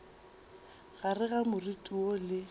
gare ga moriti woo le